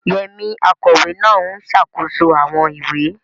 Yemi, akọ̀wé náà, ń ṣàkóso àwọn ìwé.